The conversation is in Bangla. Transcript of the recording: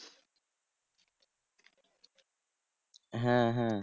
হ্যাঁ হ্যাঁ